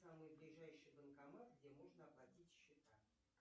самый ближайший банкомат где можно оплатить счета